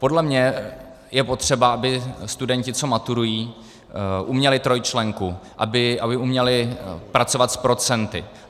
Podle mě je potřeba, aby studenti, co maturují, uměli trojčlenku, aby uměli pracovat s procenty.